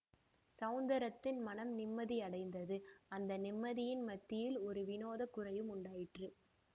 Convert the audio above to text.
ஸௌந்தரத்தின் மனம் நிம்மதியடைந்தது அந்த நிம்மதியின் மத்தியில் ஒரு விநோத குறையும் உண்டாயிற்று